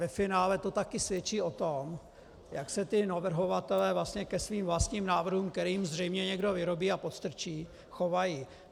Ve finále to taky svědčí o tom, jak se ti navrhovatelé vlastně ke svým vlastním návrhům, které jim zřejmě někdo vyrobí a podstrčí, chovají.